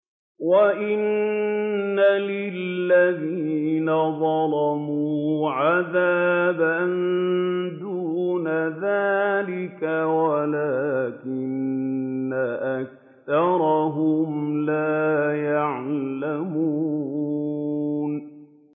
وَإِنَّ لِلَّذِينَ ظَلَمُوا عَذَابًا دُونَ ذَٰلِكَ وَلَٰكِنَّ أَكْثَرَهُمْ لَا يَعْلَمُونَ